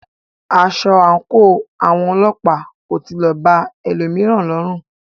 Aṣọ àńkò àwọn ọlọ́pàá kò tilẹ̀ ba ẹlòmíràn lọrù.